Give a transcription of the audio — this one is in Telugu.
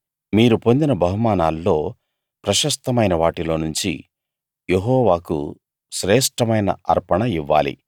మీరు పొందిన బహుమానాల్లో ప్రశస్తమైన వాటిలోనుంచి యెహోవాకు శ్రేష్ఠమైన అర్పణ ఇవ్వాలి